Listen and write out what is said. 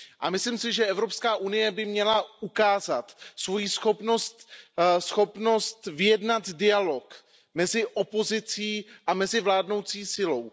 Myslím si, že Evropská unie by měla ukázat svoji schopnost vyjednat dialog mezi opozicí a mezi vládnoucí silou.